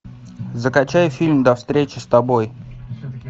закачай фильм до встречи с тобой